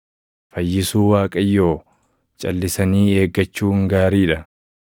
Fayyisuu Waaqayyoo calʼisanii eeggachuun gaarii dha.